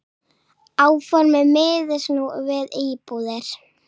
Áformin miðist nú við íbúðir.